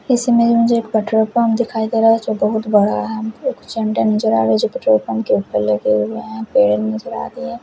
इसमें मुझे एक पेट्रोल पम्प दिखाई दे रहा जो बहुत बड़ा है पेट्रोल पम्प के उपर लगे हुए है पेड़ नजर आ रहे है।